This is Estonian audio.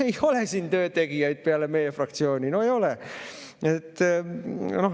" No ei ole siin töötegijaid peale meie fraktsiooni, no ei ole!